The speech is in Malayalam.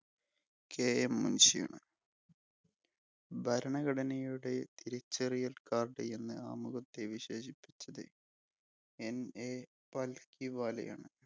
KM മുൻഷിയാണ്. ഭരണഘടനയുടെ തിരിച്ചറിയൽകാർഡ് എന്ന് ആമുഖത്തെ വിശേഷിപ്പിച്ചത് NA പൽക്കി വാലയാണ്.